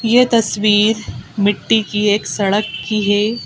ये तस्वीर मिट्टी की एक सड़क की है।